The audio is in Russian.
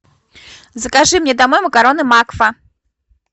закажи мне домой макароны макфа